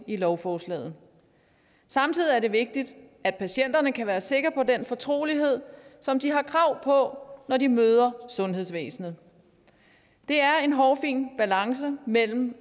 i lovforslaget samtidig er det vigtigt at patienterne kan være sikre på den fortrolighed som de har krav på når de møder sundhedsvæsenet det er en hårfin balance mellem